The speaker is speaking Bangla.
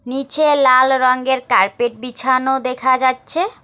নিচে লাল রংগের কার্পেট বিছানো দেখা যাচ্ছে।